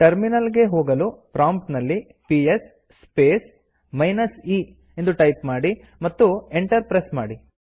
terminal ಗೆ ಹೋಗಿ ಪ್ರಾಂಪ್ಟ್ನಲ್ಲಿ ಪಿಎಸ್ ಸ್ಪೇಸ್ ಮೈನಸ್ e ಎಂದು ಟೈಪ್ ಮಾಡಿ ಮತ್ತು ಎಂಟರ್ ಪ್ರೆಸ್ ಮಾಡಿ